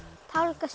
tálga